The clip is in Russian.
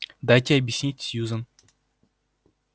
дайте объяснить сьюзен